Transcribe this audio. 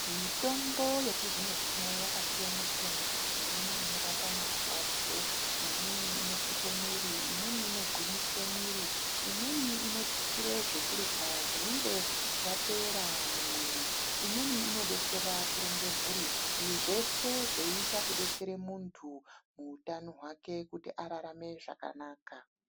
Mitombo yechizvino zvino yakasiyana siyana imweni inorapa marwadzo imweniinosuke mwiri imweni inogwinyise mwiri imweni inotutsirw zvekurya zvinenge zvapera mumwiri imweni inodetsera kurunge mhuri izveshe zveiita kudetsera muntu muutano hwake kuti ararame zvakanaka.